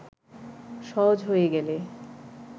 সহজ হয়ে গেলে